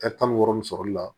tan ni wɔɔrɔ min sɔrɔli la